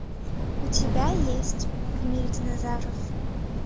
у тебя есть в мире динозавров